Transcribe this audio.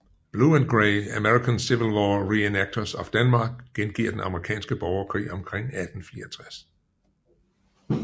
Blue and Gray American Civil War Reenactors of Denmark gengiver Den Amerikanske Borgerkrig omkring 1864